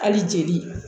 Hali jeli